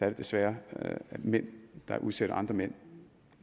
det desværre mænd der udsætter andre mænd